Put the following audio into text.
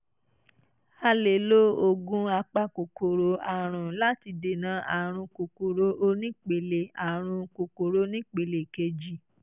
a lè lo oògùn apakòkòrò àrùn láti dènà àrùn kòkòrò onípele àrùn kòkòrò onípele kejì